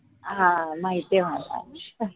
हां माहितीय मला